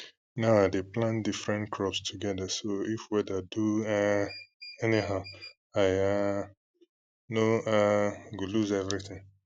now i dey plant different crops together so if weather do um anyhow i um no um go lose everything